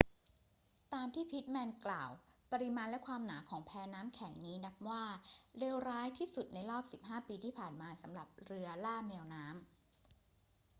ตามที่พิตต์แมนกล่าว ปริมาณและความหนาของแพน้ำแข็งนี้นับว่าเลวร้ายที่สุดในรอบ 15 ปีที่ผ่านมาสำหรับเรือล่าแมวน้ำ